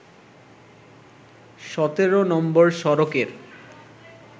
১৭ নম্বর সড়কের